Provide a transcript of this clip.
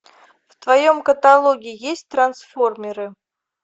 в твоем каталоге есть трансформеры